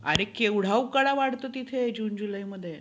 अरे केव्हडा उकाडा वाढतो तिथे जून जुलै मध्ये.